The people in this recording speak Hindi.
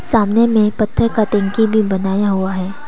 सामने में पत्थर कटिंग की भी बनाया हुआ है।